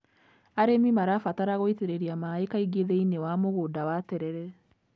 Arĩmi marabatara gũitĩrĩria maaĩ kaingĩ thĩiniĩ wa mũgũnda wa terere.